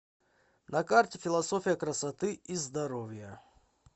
на карте философия красоты и здоровья